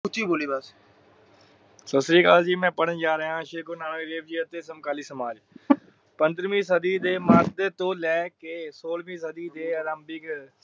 ਉੱਚੀ ਬੋਲੀ ਬਸ ਸਤਿ ਸ਼ਿਰਾਕਲ ਜੀ ਮੈ ਪੜਣ ਜਾ ਰਿਹਾ ਹਾਂ ਸ਼੍ਰੀ ਗੁਰੂ ਨਾਨਕ ਦੇਵ ਜੀ ਅਤੇ ਸਮਕਾਲੀ ਸਮਾਜ ਪੰਦਰਵੀ ਸਦੀ ਦੇ ਤੋਂ ਲੈ ਕੇ ਸੋਲਵੀ ਸਦੀ ਦੇ ਆਰਾਂਭੀਕ